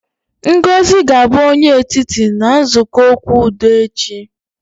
Ngozi ga-abụ onye etiti na nzukọ okwu udo echi